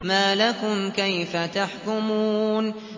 مَا لَكُمْ كَيْفَ تَحْكُمُونَ